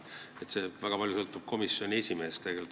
See sõltub väga palju komisjoni esimehest.